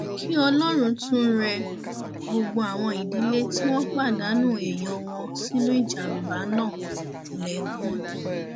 kí ọlọrun tún rẹ gbogbo àwọn ìdílé tí wọn pàdánù èèyàn wọn sínú ìjàmbá náà lẹkún